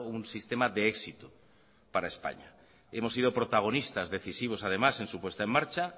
un sistema de éxito para españa hemos sido protagonistas decisivos además en su puesta en marcha